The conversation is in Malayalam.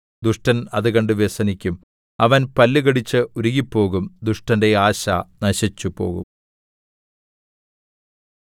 ദുഷ്ടൻ അത് കണ്ട് വ്യസനിക്കും അവൻ പല്ലുകടിച്ച് ഉരുകിപ്പോകും ദുഷ്ടന്റെ ആശ നശിച്ചുപോകും